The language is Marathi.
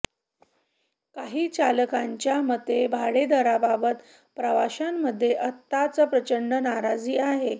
काही चालकांच्या मते भाडेदराबाबत प्रवाशांमध्ये आत्ताच प्रचंड नाराजी आहे